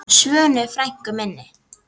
Svönu frænku minni.